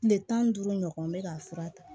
Tile tan ni duuru ɲɔgɔn n bɛ ka fura ta